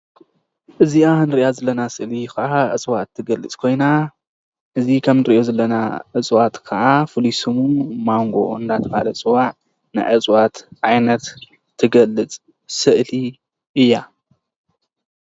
እዚአ እንሪአ ዘለና ስእሊ ከዓ እፅዋት ትገልፅ ኮይና እዚ ከምንሪኦ ዘለና አፅዋት ከዓ ፍሉይ ስሙ ማንጎ እናተባሃለ ዝፅዋዕ ናይ እፅዋት ዓይነት ትገልፅ ስእሊ እያ።